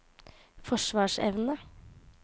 forsvarsevne